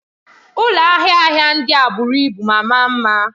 Ụlọ ahịa ahịa ndị a buru ibu ma maa mma.